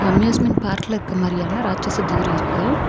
Amusement park ல இருக்க மாறியான ராட்சச தூரி இருக்கு.